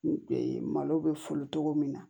Malo bɛ foli togo min na